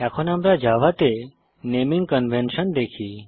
এখন আমরা জাভাতে নেমিং কনভেনশন দেখি